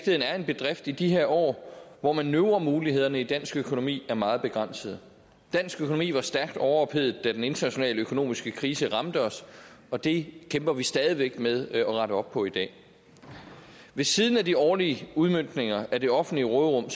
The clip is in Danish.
er en bedrift i de her år hvor manøvremulighederne i dansk økonomi er meget begrænsede dansk økonomi var stærkt overophedet da den internationale økonomiske krise ramte os og det kæmper vi stadig væk med at rette op på i dag ved siden af de årlige udmøntninger af det offentlige råderum